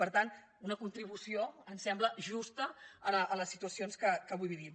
per tant una contribució ens sembla justa a les situacions que avui vivim